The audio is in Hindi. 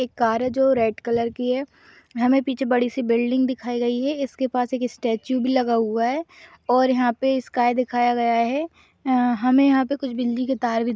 एक कार हैं जो रेड कलर की हैं हमें पीछे बड़ी सी बिल्डिंग भी दिखाई गई हैं इसके पास एक स्टेचू भी लगा हुआ हैं और यहाँ पर स्काई दिखाया गया हैं अ हमे यहाँ पे बिजली के कुछ तार--